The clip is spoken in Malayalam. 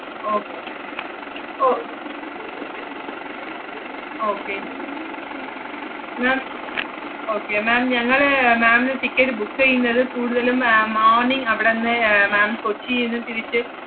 okay o~ okay ma'am okay ma'am ഞങ്ങള് ma'am ന് ticket book എയ്യുന്നത് കൂടുതലും ഏർ morning അവടന്ന് ഏർ ma'am കൊച്ചിന്ന് തിരിച്ച്,